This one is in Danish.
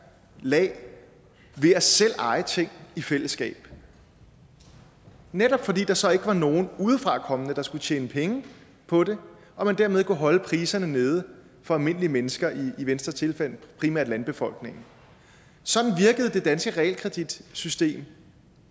lag ved selv at eje ting i fællesskab netop fordi der så ikke var nogen udefra kommende der skulle tjene penge på det og man dermed kunne holde priserne nede for almindelige mennesker i venstres tilfælde primært landbefolkningen sådan virkede det danske realkreditsystem